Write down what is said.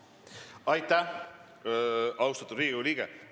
Aitäh, austatud Riigikogu liige!